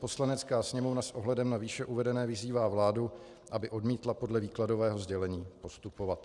Poslanecká sněmovna s ohledem na výše uvedené vyzývá vládu, aby odmítla podle výkladového sdělení postupovat."